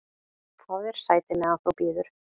"""Fáðu þér sæti, meðan þú bíður"""